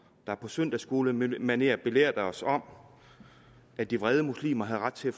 der på søndagsskolemanér belærte os om at de vrede muslimer havde ret til at